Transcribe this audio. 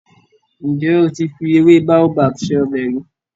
Ǹjẹ́ o ti fi ewé Baobab se ọbẹ̀ rí?